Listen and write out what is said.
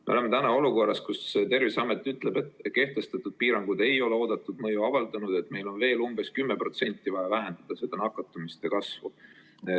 Me oleme olukorras, kus Terviseamet ütleb, et kehtestatud piirangud ei ole oodatud mõju avaldanud ja et meil on veel umbes 10% vaja vähendada nakatumiste kasvu.